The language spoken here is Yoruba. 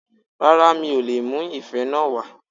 Rárá mi ò leè mú ife náà wá